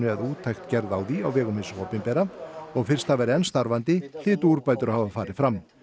eða úttekt gerð á því á vegum hins opinbera og fyrst það væri enn starfandi hlytu úrbætur að hafa farið fram